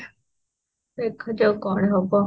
ଦେଖା ଯାଉ କଣ ହବ